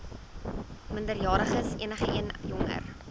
minderjariges enigeen jonger